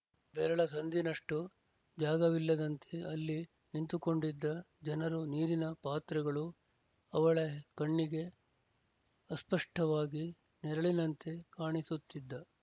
ಬೆರಳ ಸಂದಿನಷ್ಟೂ ಜಾಗವಿಲ್ಲದಂತೆ ಅಲ್ಲಿ ನಿಂತುಕೊಂಡಿದ್ದ ಜನರೂ ನೀರಿನ ಪಾತ್ರೆಗಳೂ ಅವಳೆ ಕಣ್ಣಿಗೆ ಅಸ್ಪಷ್ಟವಾಗಿ ನೆರಳಿನಂತೆ ಕಾಣಿಸುತ್ತಿದ್ದ